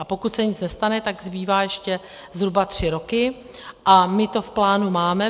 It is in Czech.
A pokud se nic nestane, tak zbývají ještě zhruba tři roky a my to v plánu máme.